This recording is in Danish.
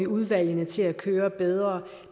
udvalgene til at køre bedre